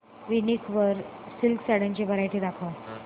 वूनिक वर सिल्क साड्यांची वरायटी दाखव